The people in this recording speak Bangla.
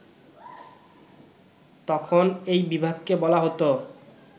তখন এই বিভাগকে বলা হতো